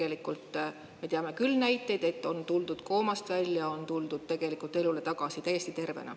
Tegelikult me teame küll näiteid, et on tuldud koomast välja, on tuldud tegelikult elule tagasi täiesti tervena.